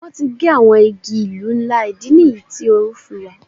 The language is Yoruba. Wọ́n ti gé àwọn igi ìlú ńlá, ìdí nìyí tí oru fi wà.